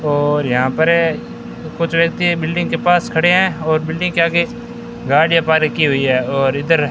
और यहां पर कुछ व्यक्ति बिल्डिंग के पास खड़े हैं और बिल्डिंग के आगे गाड़ियां पार्क की हुई है और इधर--